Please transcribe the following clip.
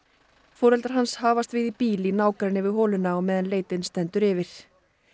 foreldrar hans hafast við í bíl í nágrenni við holuna á meðal leitin stendur yfir